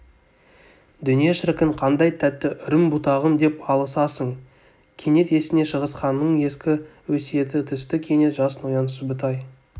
дүние шіркін қандай тәтті үрім-бұтағым деп алысасыңкенет есіне шыңғысханның ескі өсиеті түсті кенет жас ноян сүбітай